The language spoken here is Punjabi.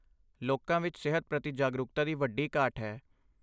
ਲੋਕਾਂ ਵਿੱਚ ਸਿਹਤ ਪ੍ਰਤੀ ਜਾਗਰੂਕਤਾ ਦੀ ਵੱਡੀ ਘਾਟ ਹੈ।